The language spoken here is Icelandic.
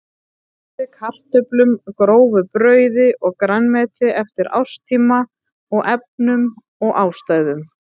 Bætt er við kartöflum, grófu brauði og grænmeti eftir árstíma og efnum og ástæðum.